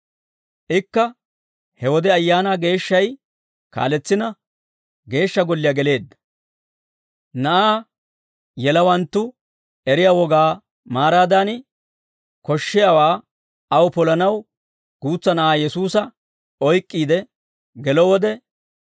Ikka he wode Ayaanaa Geeshshay kaaletsina, Geeshsha Golliyaa geleedda. Na'aa yelawanttu eriyaa wogaa maaraadan, koshshiyaawaa aw polanaw guutsa na'aa Yesuusa oyk'k'iide gelo wode,